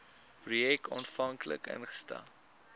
projek aanvanklik ingestel